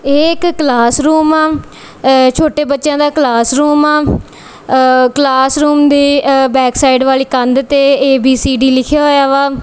ਇਹ ਇੱਕ classroom ਆ ਛੋਟੇ ਬੱਚਿਆਂ ਦਾ ਕਲਾਸ ਰੂਮ ਆ ਕਲਾਸ ਰੂਮ ਦੀ ਬੈਕ ਸਾਈਡ ਵਾਲੀ ਕੰਧ ਤੇ ਏ_ਬੀ_ਸੀ_ਡੀ ਲਿਖਿਆ ਹੋਇਆ ਵਾ।